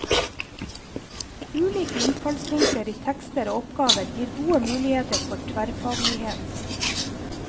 Ulike innfallsvinkler i tekster og oppgaver gir gode muligheter for tverrfaglighet.